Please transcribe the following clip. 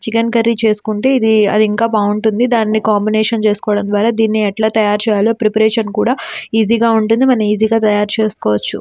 Chicken curry చేస్తుంటే ఇది అది ఇంకా బాగుంటుంది. దాన్ని కాంబినేషన్లో చేసుకోవడం ద్వారా దీని యెట్లా తయారు చేయాలో ప్రిపరేషన్ కూడా ఈజీ గ ఉంటుంది. మనం ఈజీగా తయారు చేస్కోవచ్చు.